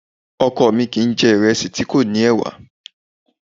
Ọkọ mi kìí jẹ̀ ìrẹsì tí kò ní ẹ̀wà